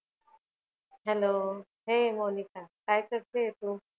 Hello हे मोनिका काय करतेय तू?